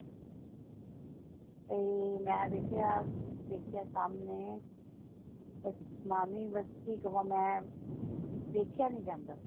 ਤੇ ਮੈਂ ਵੇਖਿਆ ਡਿੱਗਿਆ ਸਾਮਣੇ ਕੀ ਕਵਾਂ ਮੈਂ ਦੇਖਿਆ ਨਹੀਂ ਜਾਂਦਾ ਸੀ।